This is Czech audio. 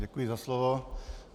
Děkuji za slovo.